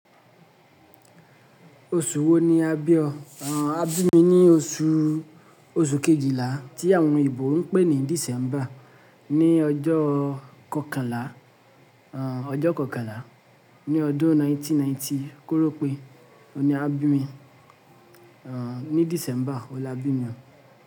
Oṣù wo ni a bí ọ? A bí mi ní oṣù, oṣù Kejìlá tí àwọn eebò ń pé ní December, ní ọjọ́ kọkànlá, ọjọ́ kọkànlá ní ọdún 1990. Kórọ́ pé, òhun ní a bí mi, ní December ọhun ni á bí mi.